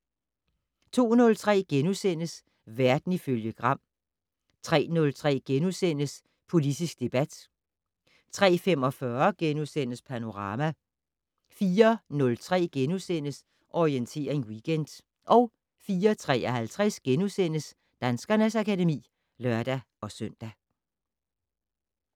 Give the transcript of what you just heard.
02:03: Verden ifølge Gram * 03:03: Politisk debat * 03:45: Panorama * 04:03: Orientering Weekend * 04:53: Danskernes akademi *(lør-søn)